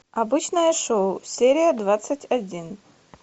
обычное шоу серия двадцать один